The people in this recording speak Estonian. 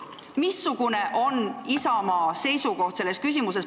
Missugune on Isamaa seisukoht selles küsimuses?